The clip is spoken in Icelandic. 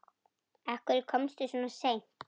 Af hverju komstu svona seint?